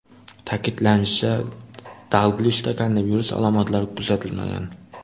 Ta’kidlanishicha, Dalglishda koronavirus alomatlari kuzatilmagan.